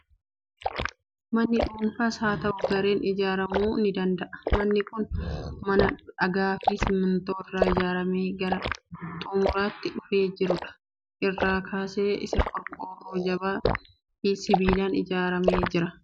Manni dhuunfaas haa ta'u gareen ijaaramuu ni danda'a. Manni kun mana dhagaa fi simmintoo irraa ijaaramee gara xumuraatti dhufee jiru dha. Irri keessa isaa qorqoorroo jabaa fi sibiilaan ijaaramee jira.